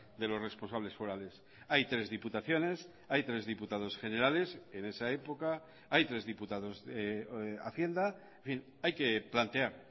de los responsables forales hay tres diputaciones hay tres diputados generales en esa época hay tres diputados de hacienda hay que plantear